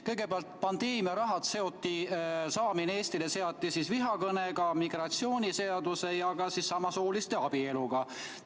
Kõigepealt, pandeemia raha saamine Eestisse seoti vihakõnega, migratsiooniseadusega ja ka samasooliste abieluga.